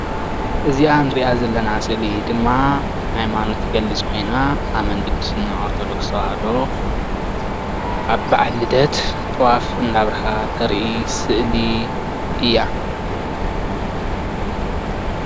እዚኣ እንሪኣ ዘለና ስእሊ ድማ ሃይማኖታዊ ትገልፅ ኮይና ኣመንቲ ክርስትና ኦርተዶክስ ተዋህዶ ኣብ በዓል ልደት ጥዋፍ እናብርሃ እተርኢ ስእሊ እያ፡፡